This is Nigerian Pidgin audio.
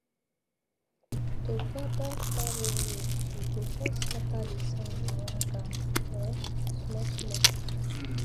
to gather taro root you go first scatter the sand around am um small small